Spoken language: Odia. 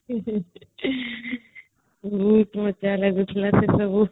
ସେସବୁ